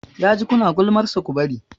Ya ji ku na gulmansa, ku bari!